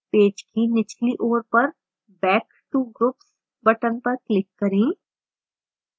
page की निचली ओर पर back to groups button पर click करें